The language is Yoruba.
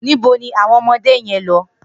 Nibó ni awọn ọmọdé yèn n lọ?